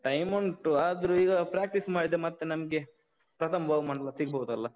Time ಮುಂಟು, ಆದ್ರೂ ಈಗ practice ಮಾಡಿದ್ರೆ ಮತ್ತೆ ನಮ್ಗೆ ಪ್ರಥಮ ಬಹುಮಾನೆಲ್ಲ ಸಿಗ್ಬೋದಲ್ಲ?